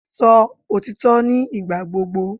Sọ òtítọ́ ní ìgbà gbogbo!